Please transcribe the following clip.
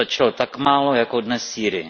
Stačilo tak málo jako dnes v Sýrii.